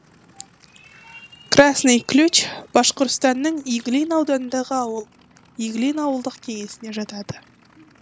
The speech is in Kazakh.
красный ключ башқұртстанның иглин ауданындағы ауыл иглин ауылдық кеңесіне жатады